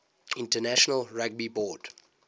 international rugby board